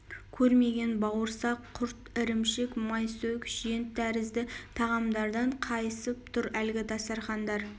көрмеген бауырсақ құрт ірімшік майсөк жент төрізді тағамдардан қайысып тұр әлгі дастарқандар